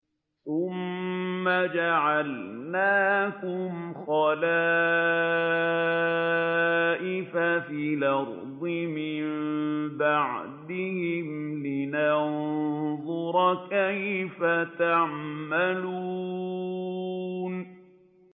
ثُمَّ جَعَلْنَاكُمْ خَلَائِفَ فِي الْأَرْضِ مِن بَعْدِهِمْ لِنَنظُرَ كَيْفَ تَعْمَلُونَ